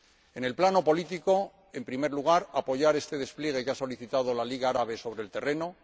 En el plano político, en primer lugar, apoyar este despliegue que ha solicitado la Liga Árabe sobre el terreno